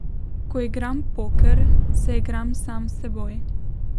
Ko igram poker, se igram sam s seboj.